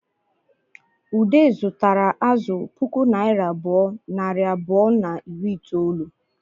Ude zutara azụ puku naira abụọ, nari abụọ na iri itoolu